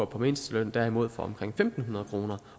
på mindsteløn derimod får omkring fem hundrede kroner